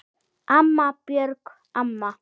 Amma, Björg amma.